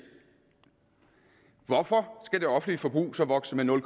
hvorfor skal det offentlige forbrug så vokse med nul